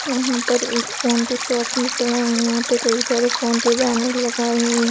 यहाँ पर एक फोन के शॉप नज़र आ रही है यहाँ पे कई सारे फोन के बैनर लगाए हुए --